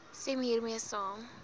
stem hiermee saam